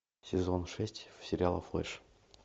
сезон шесть сериала флэш